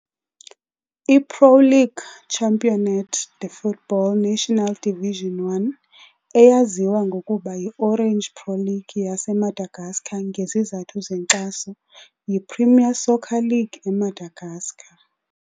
I-Pro League Championnat de Football National Division 1, eyaziwa ngokuba yiOrange Pro League yaseMadagascar ngezizathu zenkxaso, yiPremier Soccer League eMadagascar.